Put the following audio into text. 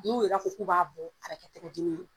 N'u yɛrɛ ko k u b'a bɔ a bɛ kɛ tɛgɛ dimi ye.